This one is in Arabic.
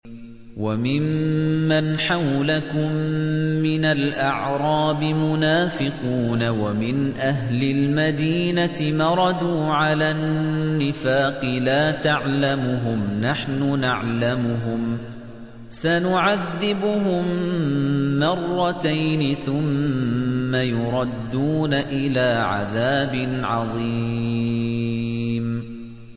وَمِمَّنْ حَوْلَكُم مِّنَ الْأَعْرَابِ مُنَافِقُونَ ۖ وَمِنْ أَهْلِ الْمَدِينَةِ ۖ مَرَدُوا عَلَى النِّفَاقِ لَا تَعْلَمُهُمْ ۖ نَحْنُ نَعْلَمُهُمْ ۚ سَنُعَذِّبُهُم مَّرَّتَيْنِ ثُمَّ يُرَدُّونَ إِلَىٰ عَذَابٍ عَظِيمٍ